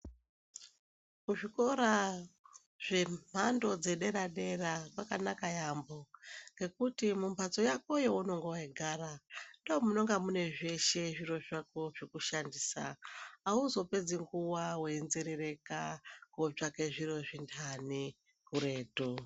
Kuzvikora zvemhando yedera dera kwakaknaka yambo ngekuti mumbatso Yako yaunonga weigara ndomunonga mune zveshe zviro zvako zvekushandisa , auzopedzi nguwa weinzerereka kotsvaka zviro zvindani kuretu.